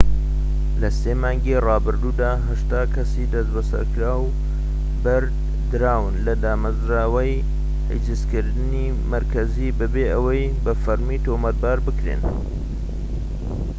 لە ٣ مانگی رابردوودا، ٨٠ کەسی دەستبەسەرکراو بەردراون لە دامەزراوەی حیجزکردنی مەرکەزی بەبێ ئەوەی بە فەرمی تۆمەتبار بکرێن